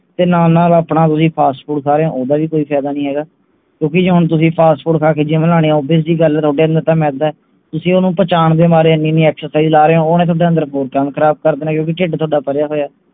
ਤੇ ਨਾਲ ਤੁਸੀਂ ਆਪਣਾ fast food ਖਾ ਰਹੇ ਹੋ ਓਹਦਾ ਵੀ ਕੋਈ ਫਾਇਦਾ ਨਹੀਂ ਹੈਗਾ ਕਿਓਂਕਿ ਜੇ ਤੁਸੀਂ fast food ਖਾ ਕੇ gym ਲੈਣੇ ਹੋ obvious ਜਿਹੀ ਗੱਲ ਹੈ ਤਾਂ ਮੈਦਾ ਤੁਸੀਂ ਓਹਨੂੰ ਪਚਾਣ ਦੇ ਮਾਰੇ ਇੰਨੀ ਇੰਨੀ excercise ਲਾ ਰਹੇ ਹੋ ਓਹਨੇ ਥੋਡੇ ਅੰਦਰ ਹੋਰ ਕੰਮ ਖਰਾਬ ਕਰ ਦੇਣਾ ਕਿਓਂਕਿ ਢਿੱਡ ਥੋਡਾ ਭਰਿਆ ਹੋਇਆ